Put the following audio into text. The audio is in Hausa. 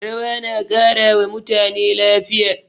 Rawa na ƙara wa mutane lafiya.